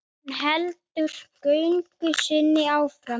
Hún heldur göngu sinni áfram.